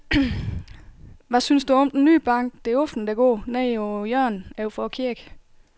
Hvad synes du om den nye bank, der åbnede i går dernede på hjørnet over for kirken?